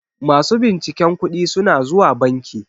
masu binciken kuɗi suna zuwa banki